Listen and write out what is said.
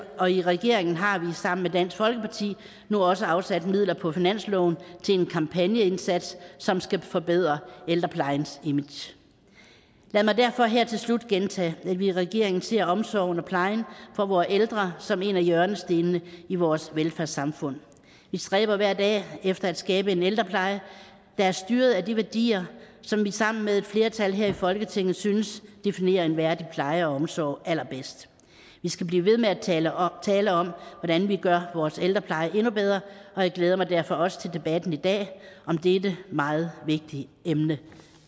og i regeringen har vi sammen med dansk folkeparti nu også afsat midler på finansloven til en kampagneindsats som skal forbedre ældreplejens image lad mig derfor her til slut gentage at vi i regeringen ser omsorgen og plejen for vore ældre som en af hjørnestenene i vores velfærdssamfund vi stræber hver dag efter at skabe en ældrepleje der er styret af de værdier som vi sammen med et flertal her i folketinget synes definerer en værdig pleje og omsorg allerbedst vi skal blive ved med at tale om tale om hvordan vi gør vores ældrepleje endnu bedre og jeg glæder mig derfor også til debatten i dag om dette meget vigtige emne